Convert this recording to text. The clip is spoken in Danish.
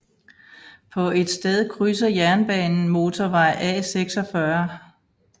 På et sted krydser jernbanen motorvej A46